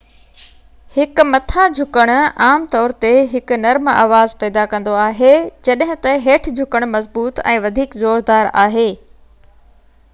هڪ مٿان-جهڪڻ عام طور تي هڪ نرم آواز پيدا ڪندو آهي جڏهن ته هيٺ-جهڪڻ مضبوط ۽ وڌيڪ زوردار آهي